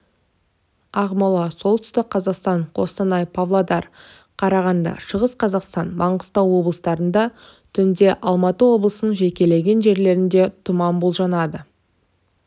ақмола солтүстік қазақстан қостанай павлодар қарағанды шығыс қазақстан маңғыстау облыстарында түнде алматы облысының жекелеген жерлеріндетұман болжанады